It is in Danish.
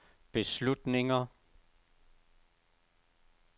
beslutninger